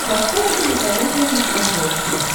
поставь кинокомедия на смотрешке